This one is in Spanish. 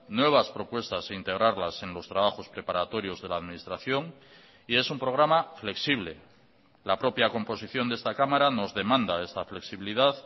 nuevas propuestas e integrarlas en los trabajos preparatorios de la administración y es un programa flexible la propia composición de esta cámara nos demanda esta flexibilidad